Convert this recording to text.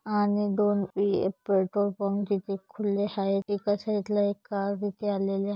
आणि दोन petrol pump तिथे खुले आहेत एका साइडला एक कार तिथे आलेली--